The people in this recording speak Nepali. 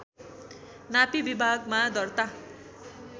नापी विभागमा दर्ता